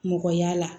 Mɔgɔya la